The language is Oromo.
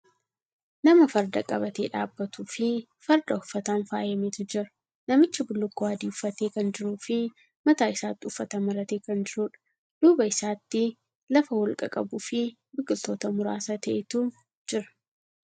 Nama farda qabatee dhaabbatuu fi farda uffataan faayameetu jira. Namichi bullukkoo adii uffatee kan jiruu fi mataa isaatti uffata maratee kan jiruudha. Duuba isaatti lafa holqa qabuu fi biqiltoota muraasa ta'etu jira.